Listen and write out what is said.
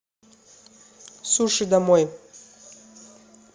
суши домой